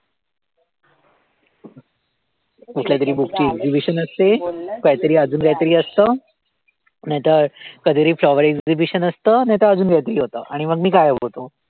कुठल्या तरी गोष्टीचं exhibition असते, काही तरी अजून काही तरी असतं नाही तर कधी तरी flower exhibition असतं, नाहीतर अजून काहीतरी होतं आणि मग मी गायब होतो.